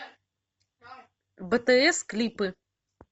бтс клипы